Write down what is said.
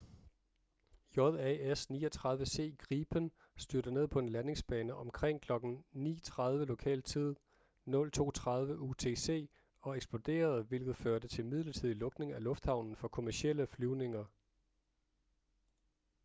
jas 39c gripen styrtede ned på en landingsbane omkring kl. 9.30 lokal tid 02.30 utc og eksploderede hvilket førte til midlertidig lukning af lufthavnen for kommercielle flyvninger